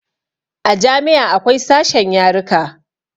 A jami'a akwai sashen yaruka